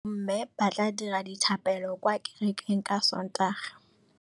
Bommê ba tla dira dithapêlô kwa kerekeng ka Sontaga.